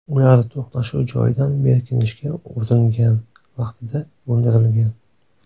Ular to‘qnashuv joyidan berkinishga uringan vaqtida o‘ldirilgan.